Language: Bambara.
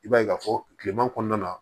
I b'a ye k'a fɔ kileman kɔnɔna na